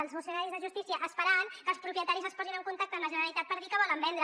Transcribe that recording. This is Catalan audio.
els funcionaris de justícia esperant que els propietaris es posin en contacte amb la generalitat per dir que volen vendre